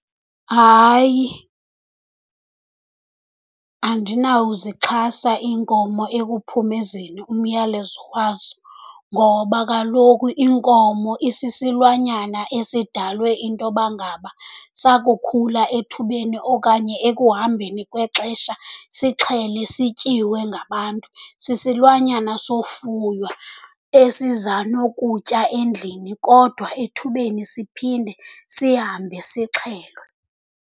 Hayi andinawuzixhasa iinkomo ekuphumezeni umyalezo wazo, ngoba kaloku inkomo isisilwanyana esidalwe into yoba ngaba sakukhula ethubeni okanye ekuhambeni kwexesha sixhele sityiwe ngabantu. Sisilwanyana sofuywa esiza nokutya endlini kodwa ethubeni siphinde sihambe sixhelwe.